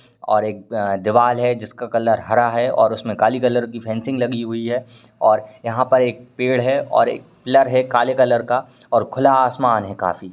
और एक अ दीवाल है जिसका कलर हरा है और उसमें काली कलर की फेसिंग लगी हुइ है और यहाँ पर एक पेड़ है और एक पिल्लर है काले कलर का और खुला आसमान है काफ़ी।